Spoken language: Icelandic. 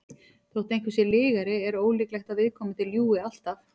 þótt einhver sé lygari er ólíklegt að viðkomandi ljúgi alltaf